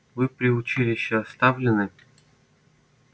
вы при училище оставлены